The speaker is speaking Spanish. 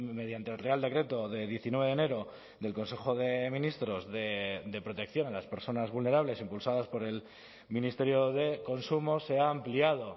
mediante el real decreto de diecinueve de enero del consejo de ministros de protección a las personas vulnerables impulsadas por el ministerio de consumo se ha ampliado